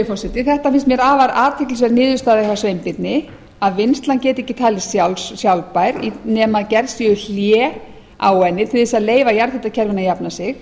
forseti þetta finnst mér afar athyglisverð niðurstaða hjá sveinbirni að vinnslan geti ekki talist sjálfbær nema gerð séu hlé á henni til þess að leyfa jarðhitakerfinu að jafna sig